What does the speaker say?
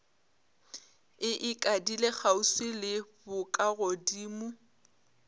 e ikadile kgauswi le bokagodimo